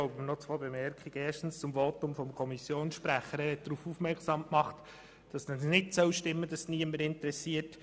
Erstens hat der Kommissionssprecher gesagt, es stimme nicht, dass es niemanden interessiere.